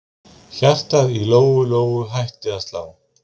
Hjartað í Lóu Lóu hætti að slá.